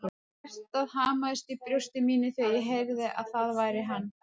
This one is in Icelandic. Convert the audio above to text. Hjartað hamaðist í brjósti mínu þegar ég heyrði að það var hann.